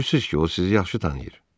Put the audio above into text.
Görürsünüz ki, o sizi yaxşı tanıyır.